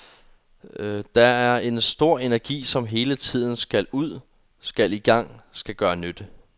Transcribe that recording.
Der er en stor energi som hele tiden skal ud, skal i gang, skal gøre nytte.